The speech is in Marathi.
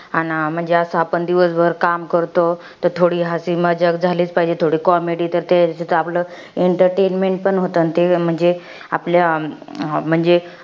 अन म्हणजे असं आपण दिवसभर काम करतो. तर थोडी झालीच पाहिजे, थोडी comedy ते आपलं, entertainment पण होतं ते, म्हणजे आपल्या म्हणजे.